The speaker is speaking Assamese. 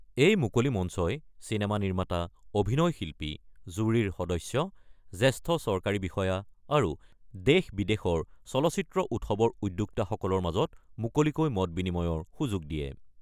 এই মুকলি মঞ্চই চিনেমা নিৰ্মাতা, অভিনয় শিল্পী, জুৰীৰৰ সদস্য, জ্যেষ্ঠ চৰকাৰী বিষয়া আৰু দেশ-বিদেশৰ চলচ্চিত্ৰ উৎসৱৰ উদ্যোক্তাসকলৰ মাজত মুকলিকৈ মত বিনিময়ৰ সুযোগ দিয়ে।